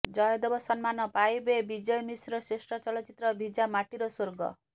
ଜୟଦେବ ସମ୍ମାନ ପାଇବେ ବିଜୟ ମିଶ୍ର ଶ୍ରେଷ୍ଠ ଚଳଚ୍ଚିତ୍ର ଭିଜା ମାଟିର ସ୍ୱର୍ଗ